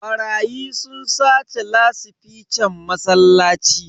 Barayi sun sace lasifican masallaci.